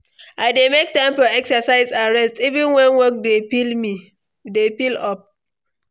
I dey make time for exercise and rest, even when work dey pile up.